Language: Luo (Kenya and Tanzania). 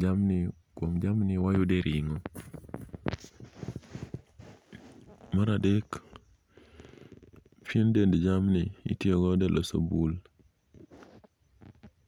jamni, kuom jamni wayude ring'o. Maradek, pien dend jamni itiyogodo e loso bul.